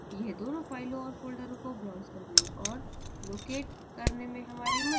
ये दोनों फ़ाइलों और folders को browse करने और locate करने में हमारी मदद करेंगे